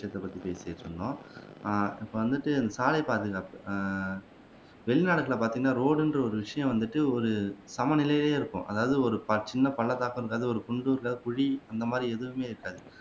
பத்தி பேசிட்டு இருந்தோம் ஆஹ் இப்போ வந்துட்டு சாலைப் பாதுகாப்பு ஆஹ் வெளிநாடுகள்ல பாத்திங்கண்ணா ரோடு என்ற ஒரு விஷயம் வந்துட்டு ஒரு சமநிலைலேயே இருக்கும் அதாவது ஒரு சின்ன பள்ளத்தாக்கும் இருக்காது ஒரு குன்றும் இல்ல குழி அந்தமாதிரி எதுவுமே இருக்காது